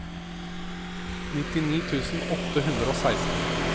nittini tusen åtte hundre og seksten